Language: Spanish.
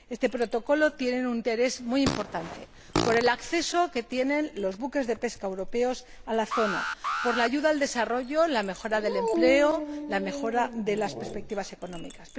Este protocolo tiene un interés muy importante, por el acceso que tienen los buques de pesca europeos a la zona, por la ayuda al desarrollo, la mejora del empleo y la mejora de las perspectivas económicas.